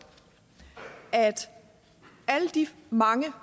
at alle de mange